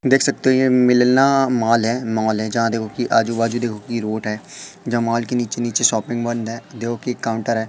देख सकते हो ये मिलना माल है माल है जहां देखो कि आजू बाजू देखो कि रोड है जहां माल के नीचे नीचे शॉपिंग बंद है देखो कि एक काउंटर है।